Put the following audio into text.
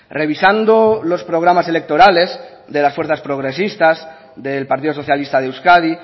revisando los programas electorales de las fuerzas progresistas del partido socialista de euskadi